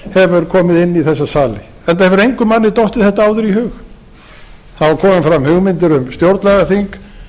komið inn í þessa sali enda hefur engum manni dottið þetta áður í hug það hafa komið fram hugmyndir um stjórnlagaþing